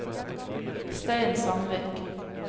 Stein Sandvik